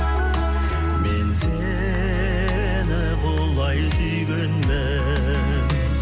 мен сені құлай сүйгенмін